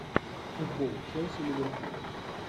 футбол челси ливерпуль